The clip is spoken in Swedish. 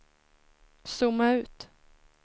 zooma ut